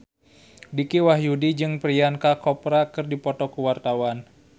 Dicky Wahyudi jeung Priyanka Chopra keur dipoto ku wartawan